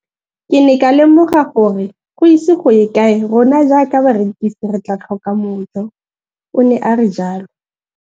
Ke ne ka lemoga gore go ise go ye kae rona jaaka barekise re tla tlhoka mojo, o ne a re jalo.